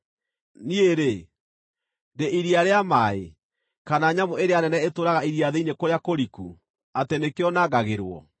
Niĩ-rĩ, ndĩ iria rĩa maaĩ, kana nyamũ ĩrĩa nene ĩtũũraga iria thĩinĩ kũrĩa kũriku, atĩ nĩkĩo nangagĩrwo?